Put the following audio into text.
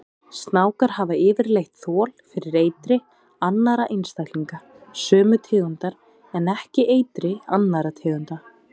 Snákar hafa yfirleitt þol fyrir eitri annarra einstaklinga sömu tegundar en ekki eitri annarra tegunda.